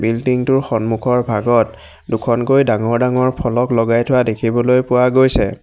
Building টোৰ সন্মুখৰ ভাগত দুখনকৈ ডাঙৰ ডাঙৰ ফলক লগাই থোৱা দেখিবলৈ পোৱা গৈছে।